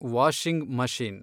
washing machine